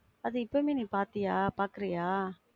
அத இப்பவுமே நீ பாத்தியா? பாக்குறியா?